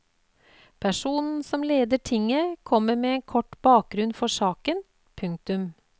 Personen som leder tinget kommer med en kort bakgrunn for saken. punktum